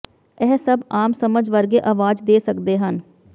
ਇਹ ਸਭ ਆਮ ਸਮਝ ਵਰਗੇ ਆਵਾਜ਼ ਦੇ ਸਕਦੇ ਹਨ